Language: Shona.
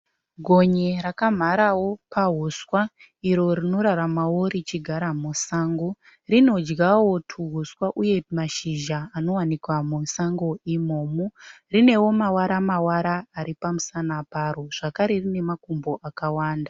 Gonye rakamharawo pahuswa iro rinoraramawo richigara musango. Rinodyawo tuhuswa uye mashizha anowanikwa musango imomo. Rinewo mawara mawara ari pamusana paro zvakare rine makumbo akawanda.